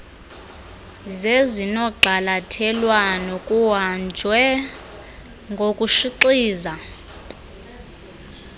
zezinogxalathelwano kuhanjwe ngokushixiza